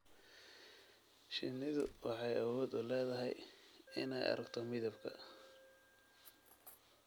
Shinnidu waxay awood u leedahay inay aragto midabka.